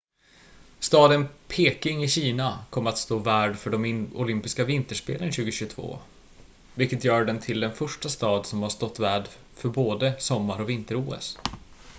staden peking i kina kommer att stå värd för de olympiska vinterspelen 2022 vilket gör den till den första stad som har stått värd för både sommar- och vinter-os